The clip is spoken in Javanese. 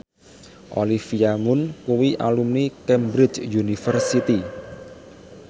Olivia Munn kuwi alumni Cambridge University